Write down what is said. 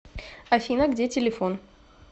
афина где телефон